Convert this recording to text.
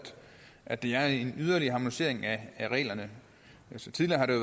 at det er en yderligere harmonisering af reglerne tidligere har der